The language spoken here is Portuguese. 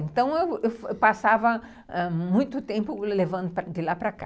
Então eu passava muito tempo levando de lá para cá.